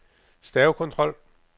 stavekontrol